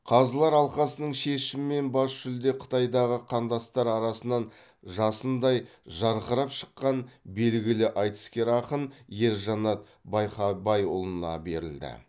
қазылар алқасының шешімімен бас жүлде қытайдағы қандастар арасынан жасындай жарқырап шыққан белгілі айтыскер ақын ержанат байқабайұлына берілді